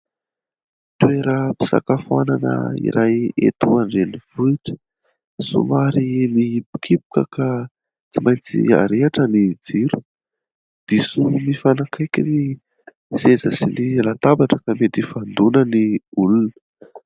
Toeram-pisakafoanana iray eto an-drenivohitra somary mihibokiboka ka tsy maintsy arehitra ny jiro, diso mifanakaiky ny seza sy ny latabatra ka mety hifandoana ny olona.